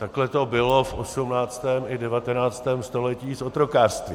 Takhle to bylo v 18. i 19. století s otrokářstvím.